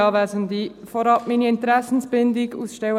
Vorab gebe ich ihnen meine Interessenbindung bekannt: